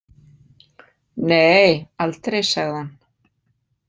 Nei, aldrei, sagði hann.